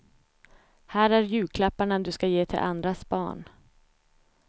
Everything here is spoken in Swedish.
Här är julklapparna du ska ge till andras barn.